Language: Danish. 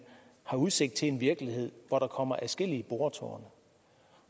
har udsigt til en virkelighed hvor der kommer adskillige boretårne